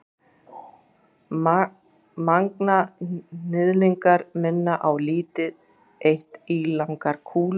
Manganhnyðlingar minna á lítið eitt ílangar kúlur.